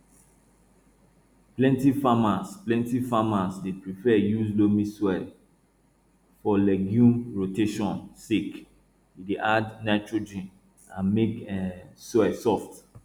plenty farmers plenty farmers dey prefer use loamy soil for legume rotation sake e dey add nitrogen and make um soil soft